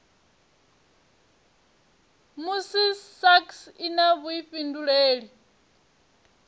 musi sasc i na vhuifhinduleli